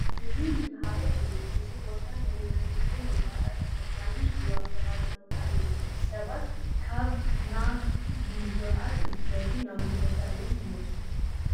እዚ መነሃርያ እዩ፡፡ እዚ ቦታ ናይ ህዝቢ መጓዓዓዝቲ መኻይን ዝዋፈራሉ ቦታ እዩ፡፡ ሰባት ካብ ናብ ንምጉዓዝ እንትደልዩ ናብዚ ቦታ እዮም ዝመፁ፡፡